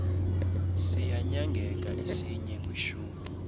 siyanyangeka isinye kwishumi